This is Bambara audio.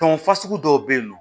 Tɔn fasugu dɔw bɛ yen nɔ